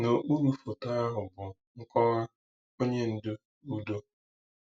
N’okpuru foto ahụ bụ nkọwa: “Onye Ndu Udo.”